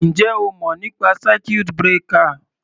Ǹjẹ́ o mọ̀ nípa circuit breaker?